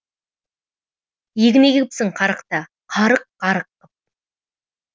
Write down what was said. егін егіпсің қарықта қарық қарық қып